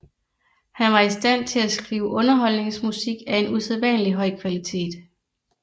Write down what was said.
Han var i stand til at skrive underholdningsmusik af en usædvanlig høj kvalitet